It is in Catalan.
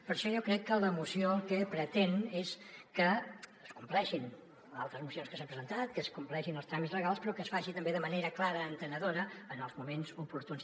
per això jo crec que la moció el que pretén és que es compleixin altres mocions que s’han presentat que es compleixin els tràmits legals però que es faci també de manera clara entenedora en els moments oportuns